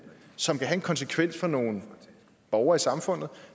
som vil have en konsekvens for nogle borgere i samfundet og